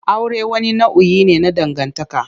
Aure wani nau'i ne na dangantaka.